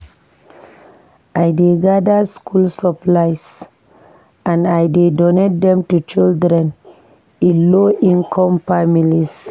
I dey gather school supplies and I dey donate dem to children in low-income families.